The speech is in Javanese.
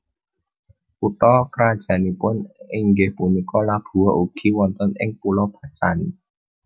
Kutha krajannipun inggih punika Labuha ugi wonten ing Pulo Bacan